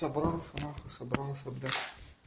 собрался нахуй собрался бля